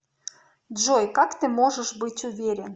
джой как ты можешь быть уверен